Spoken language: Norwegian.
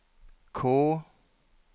K